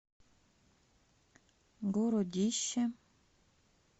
городище